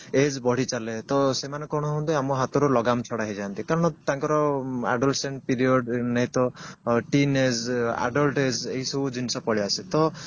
age ବଢି ଚାଲେ ତ ସେମାନେ କଣ ହୁଅନ୍ତି ଆମ ହାତରୁ ଲଗାମ ଛଡା ହେଇ ଯାଆନ୍ତି କାରଣ ତାଙ୍କର period ନାଇଁ ତ teen age adult age ଏଇସବୁ ଜିନିଷ ପଳେଇଆସେ ତ